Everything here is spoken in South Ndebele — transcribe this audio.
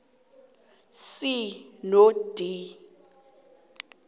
c no d